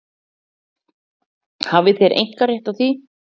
Hafið þér einkarétt á því?